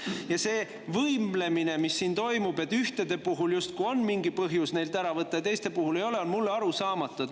Ja see võimlemine, mis siin toimub, et ühtede puhul justkui on mingi põhjus neilt ära võtta ja teiste puhul ei ole, on mulle arusaamatu.